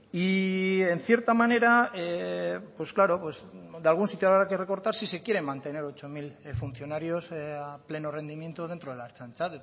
y en cierta manera pues claro de algún sitio habrá que recortar si quieren mantener ocho mil funcionarios a pleno rendimiento dentro de la ertzaintza